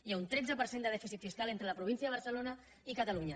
hi ha un tretze per cent de dèficit fiscal entre la província de barce·lona i catalunya